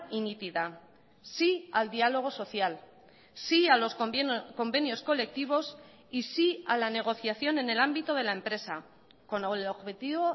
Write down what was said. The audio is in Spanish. y nítida sí al diálogo social sí a los convenios colectivos y sí a la negociación en el ámbito de la empresa con el objetivo